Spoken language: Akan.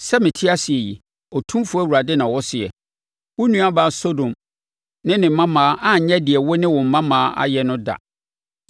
Sɛ mete ase yi, Otumfoɔ Awurade na ɔseɛ, wo nuabaa Sodom ne ne mmammaa anyɛ deɛ wo ne wo mmammaa ayɛ no da.